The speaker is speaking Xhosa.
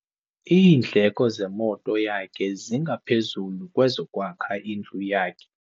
Iindleko zemoto yakhe zingaphezu kwezokwakha indlu yakhe.